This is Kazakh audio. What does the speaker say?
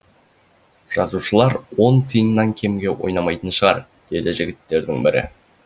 жазушылар он тиыннан кемге ойнамайтын шығар деді жігіттердің бірі